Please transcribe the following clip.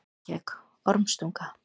Reykjavík: Ormstunga.